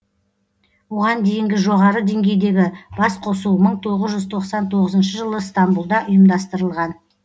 оған дейінгі жоғары деңгейдегі басқосу мың тоғыз жүз тоқсан тоғызыншы жылы ыстамбұлда ұйымдастырылған